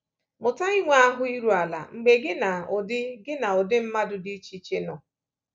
Mụta inwe ahụ́ iru ala mgbe gị na ụdị gị na ụdị mmadụ dị iche iche nọ.